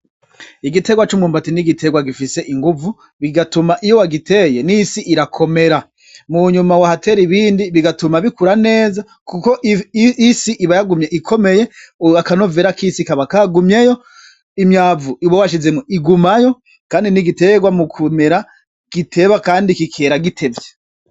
Igitegwa c'umyumbati ni igitegwa gifise inguvu bigatuma iyo wagiteye n'isi irakomera munyuma bahatera ibindi bigatuma bikura neza kuko isi iba yagumye ikomeye akanovera k'isi kaba kagumyeyo imyavu uba washizemwo igumayo kandi ni igitegwa mukumera giteba kandi kikera gitevye.